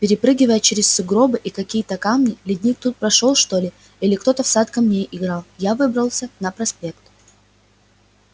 перепрыгивая через сугробы и какие-то камни ледник тут прошёл что ли или кто-то в сад камней играл я выбрался на проспект